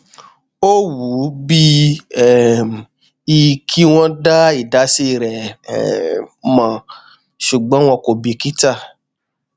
ó wù ú bí um i kí wọn dá ìdásí rẹ um mọ ṣùgbọn wọn kò bìkítà